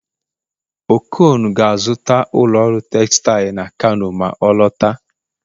okon ga-azụta ụlọ ọrụ textile na kano ma ọ lọta